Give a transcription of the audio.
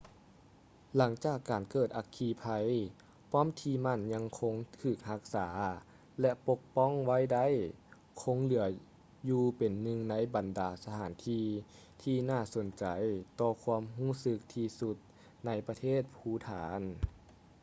ຫຼັງຈາກການເກີດອັກຄີໄພ ປ້ອມທີ່ໝັ້ນ ຍັງຄົງຖືກຮັກສາ ແລະ ປົກປ້ອງໄວ້ໄດ້ ຄົງເຫຼືອຢູ່ເປັນໜຶ່ງໃນບັນດາສະຖານທີ່ ທີ່ໜ້າສົນໃຈຕໍ່ຄວາມຮູ້ສຶກທີ່ສຸດໃນ ປະເທດພູຖານ